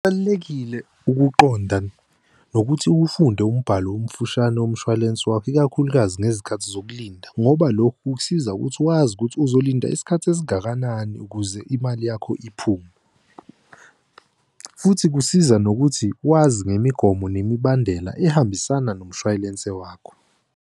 Kubalulekile ukuqonda nokuthi ufunde umbhalo omfushane womshwalense wakho, ikakhulukazi ngezikhathi zokulinda, ngoba lokho kukusiza ukuthi wazi ukuthi uzolinda isikhathi esingakanani ukuze imali yakho iphume. Futhi kusiza nokuthi wazi ngemigomo nemibandela ehambisana nomshwayelense wakho.